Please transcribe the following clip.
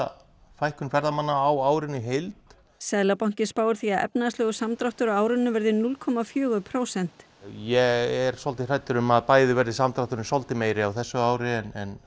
fækkun ferðamanna á árinu í heild seðlabankinn spáir því að efnahagslegur samdráttur á árinu verði núll komma fjögur prósent ég er svolítið hræddur um að bæði verði samdrátturinn svolítið meiri á þessu ári en